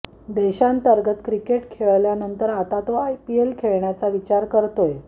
देशांतर्गत किकेट खेळल्यानंतर आता तो आयपीएल खेळण्याचा विचार करतोय